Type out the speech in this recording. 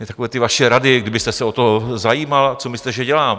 Mně takové ty vaše rady, kdybyste se o to zajímal - co myslíte, že dělám?